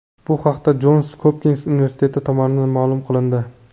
Bu haqda Jons Hopkins universiteti tomonidan ma’lum qilindi .